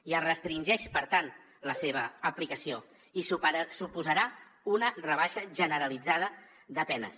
i es restringeix per tant la seva aplicació i suposarà una rebaixa generalitzada de penes